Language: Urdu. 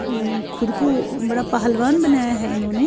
.امم خود کو بدا پہلوان بنایا ہے انہو نے